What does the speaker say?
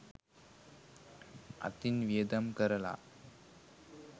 අතින් වියදම් කරලා